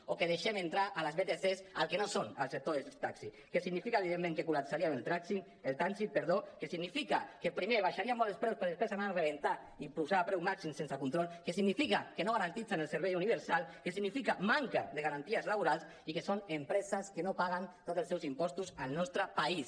o que deixem entrar les vtcs al que no són al sector del taxi que significa evidentment que col·lapsarien el trànsit que significa que primer abaixarien molt els preus per després anar a rebentar i posar preus màxims sense control que significa que no garanteixen el servei universal que significa manca de garanties laborals i que són empreses que no paguen tots els seus impostos al nostre país